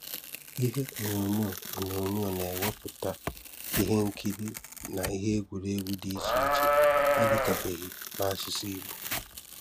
Ihe onyonyo onyonyo na-ewepụta ihe nkiri na ihe egwuregwu dị iche iche adịkabeghị n’asụsụ Ìgbò.